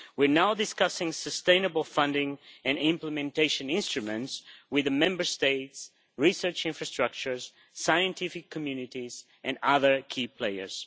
We are now discussing sustainable funding and implementation instruments with the Member States, research infrastructures, scientific communities and other key players.